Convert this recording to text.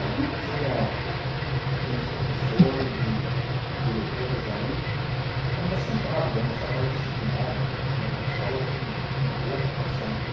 Ali tinha tinham os professores e e diretores ali ainda centrados, ainda sabe mais disciplinados, eh e a escola tinha um uma boa reputação.